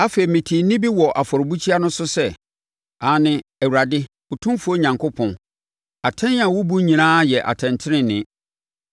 Afei, metee nne bi wɔ afɔrebukyia no so sɛ, “Aane, Awurade, Otumfoɔ Onyankopɔn, atɛn a wobu nyinaa yɛ atɛntenenee!”